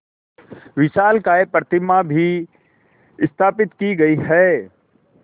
विशालकाय प्रतिमा भी स्थापित की गई है